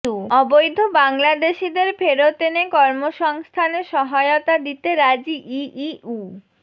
অবৈধ বাংলাদেশিদের ফেরত এনে কর্মসংস্থানে সহায়তা দিতে রাজি ইইউ